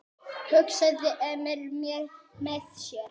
hugsaði Emil með sér.